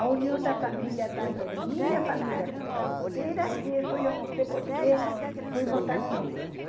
A união da família, tanto de minha família como solteira, que isso eu não sei porque fomos tão unidos.